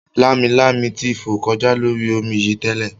Lámilámi ti fò kọjá lórí omi yìí tẹ́lẹ̀